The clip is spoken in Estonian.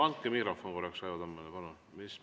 No andke mikrofon korraks Raivo Tammele, palun!